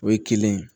O ye kelen ye